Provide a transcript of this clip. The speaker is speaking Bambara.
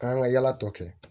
An ka yala tɔ kɛ